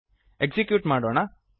execute ಮಾಡೋಣ